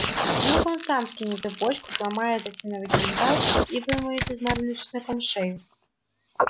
вдруг он сам скинет цепочку сломает осиновый кинжал и вымоет измазанную чесноком шею